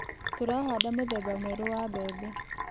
Tũrahanda mũthemba mwerũ wa mbembe.